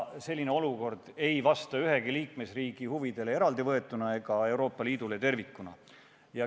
Selline olukord ei vasta ühegi liikmesriigi huvidele eraldivõetuna ega Euroopa Liidule tervikuna.